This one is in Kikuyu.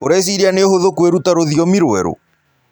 Ũrecĩĩrĩa nĩ ũhũthũ kwĩrũta rũthĩomĩ rwerũ?